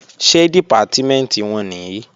Ṣé Dìpátímẹ̀ntì wọn nìí?